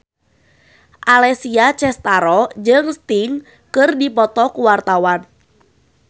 Alessia Cestaro jeung Sting keur dipoto ku wartawan